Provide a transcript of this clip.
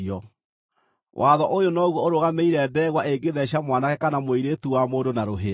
Watho ũyũ noguo ũrũgamĩrĩire ndegwa ĩngĩtheeca mwanake kana mũirĩtu wa mũndũ na rũhĩa.